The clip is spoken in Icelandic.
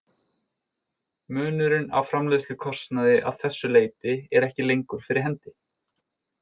Munurinn á framleiðslukostnaði að þessu leyti er ekki lengur fyrir hendi.